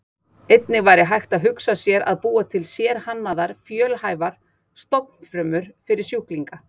Einnig væri hægt að hugsa sér að búa til sérhannaðar fjölhæfar stofnfrumur fyrir sjúklinga.